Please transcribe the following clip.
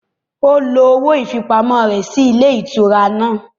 Ó lo owó ìfipamọ́ ayé rẹ̀ ní ilé ìtura náà.